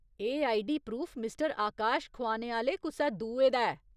एह् ID proof mister Akash खुआने आह्‌ले कुसै दुए दा ऐ ।